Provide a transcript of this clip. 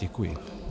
Děkuji.